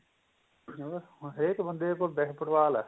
ਹੋਰ ਹੁਣ ਹਰੇਕ ਬੰਦੇ ਕੋਲ football ਏ